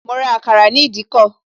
Mo ra àkàrà ní ìdíkọ̀